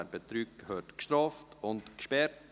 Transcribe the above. Wer betrügt, gehört bestraft und gesperrt.